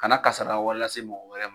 Kana kasara wɛrɛ lase mɔgɔw wɛrɛ ma